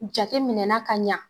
Jateminɛna ka ɲa